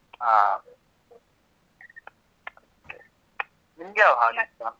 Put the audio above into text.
ಹಾ ನಿಮ್ಗ್ ಯಾವ್ ಹಾಡ್ ಇಷ್ಟ.